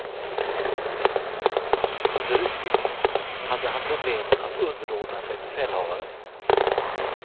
Under utbildningen hade han problem att underordna sig befälhavaren.